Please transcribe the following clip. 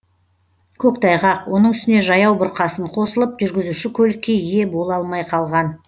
көктайғақ оның үстіне жаяу бұрқасын қосылып жүргізуші көлікке ие бола алмай қалған